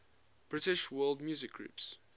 british world music groups